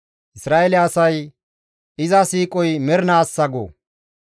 Isra7eele asay, «Iza siiqoy mernaassa» go.